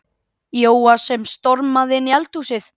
Jóa sem stormaði inn í eldhúsið.